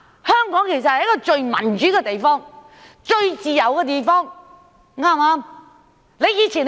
香港其實是最民主、最自由的地方，對不對？